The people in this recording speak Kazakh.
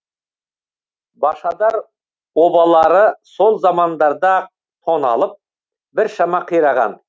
башадар обалары сол замандарда ақ тоналып біршама қираған